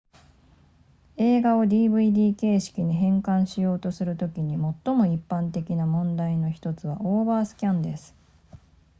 映画を dvd 形式に変換しようとするときに最も一般的な問題の1つはオーバースキャンです